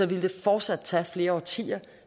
ville det fortsat tage flere årtier